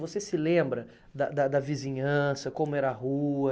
Você se lembra da da da vizinhança, como era a rua?